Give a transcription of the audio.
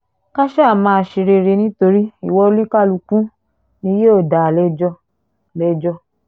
ká sá máa ṣe rere nítorí ìwà oníkálukú ni yóò dá a lẹ́jọ́ lẹ́jọ́